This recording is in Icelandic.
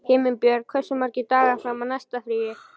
Himinbjörg, hversu margir dagar fram að næsta fríi?